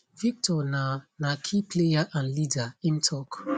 victor na na key player and leader im tok